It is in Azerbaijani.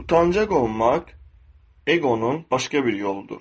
Utancaq olmaq eqonun başqa bir yoludur.